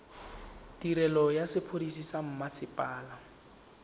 tirelo ya sepodisi sa mmasepala